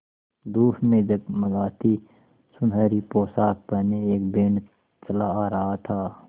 धूप में जगमगाती सुनहरी पोशाकें पहने एक बैंड चला आ रहा था